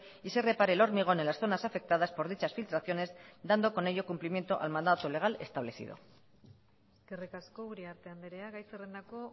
y se repare el hormigón en las zonas afectadas por dichas filtraciones dando con ello cumplimiento al mandato legal establecido eskerrik asko uriarte andrea gai zerrendako